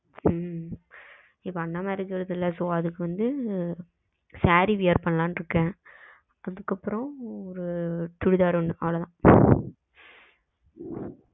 உம் இப்போ அந்தமாரி எடுக்குறது இல்ல so அதுக்கு வந்து சேரி wear பண்ணலாம்னு இருக்கேன். அதுக்கு அப்புறம் ஒரு சுடிதார் ஒன்னு அவளோதான் ம்